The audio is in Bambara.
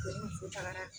tagara